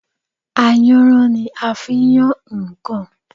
Ayanran ni a fi ń yan nǹkan